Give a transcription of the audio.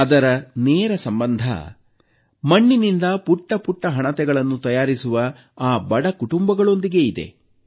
ಅದರ ನೇರ ಸಂಬಂಧ ಮಣ್ಣಿನಿಂದ ಪುಟ್ಟಪುಟ್ಟ ಹಣತೆಗಳನ್ನು ತಯಾರಿಸುವ ಆ ಬಡ ಕುಟುಂಬಗಳೊಂದಿಗೆ ಹೊಂದಿದೆ